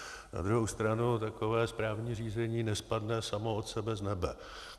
Na druhou stranu takové správní řízení nespadne samo od sebe z nebe.